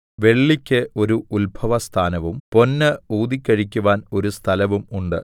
വെള്ളിയ്ക്ക് ഒരു ഉത്ഭവസ്ഥാനവും പൊന്ന് ഊതിക്കഴിക്കുവാൻ ഒരു സ്ഥലവും ഉണ്ട്